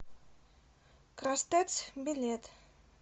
крастэц билет